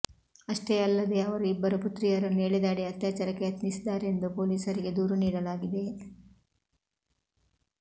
ಅಷ್ಟೇ ಅಲ್ಲದೇ ಅವರ ಇಬ್ಬರು ಪುತ್ರಿಯರನ್ನು ಎಳೆದಾಡಿ ಅತ್ಯಾಚಾರಕ್ಕೆ ಯತ್ನಿಸಿದ್ದಾರೆಂದು ಪೊಲೀಸರಿಗೆ ದೂರು ನೀಡಲಾಗಿದೆ